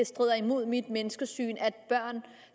strider imod mit menneskesyn at børn